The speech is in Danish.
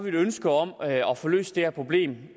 ønske om at få løst det her problem